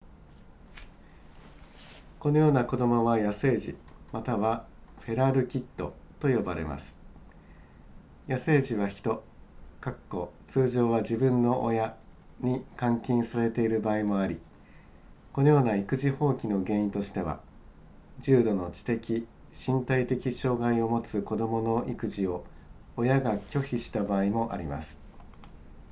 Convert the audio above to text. このような子供は野生児またはフェラルキッドと呼ばれます野生児は人通常は自分の親に監禁されている場合もありこのような育児放棄の原因としては重度の知的身体的障害を持つ子供の育児を親が拒否した場合もあります